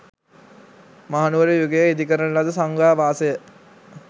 මහනුවර යුගයේ ඉදිකරන ලද සංඝාවාසය